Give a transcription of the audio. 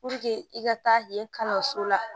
i ka taa yen kalanso la